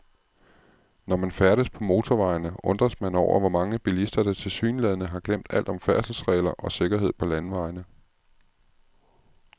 Når man færdes på motorvejene, undres man over, hvor mange bilister, der tilsyneladende har glemt alt om færdselsregler og sikkerhed på landevejene.